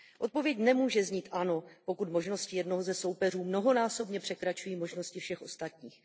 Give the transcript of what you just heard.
Odpověď nemůže znít ano, pokud možnosti jednoho ze soupeřů mnohonásobně překračují možnosti všech ostatních.